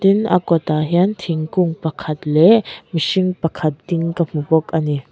tin a kawtah hian thingkung pakhat lehh mihring pakhat ding ka hmu bawk ani.